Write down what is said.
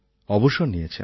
অবসর নিয়েছেন